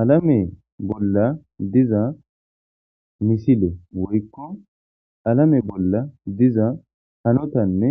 alame bolla diza misile woykko alame bolla diza hanotanne